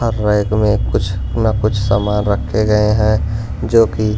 और रैक में कुछ ना कुछ सामान रखे गए हैं जो कि--